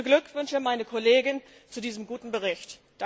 Ich beglückwünsche meine Kollegin zu diesem guten Bericht.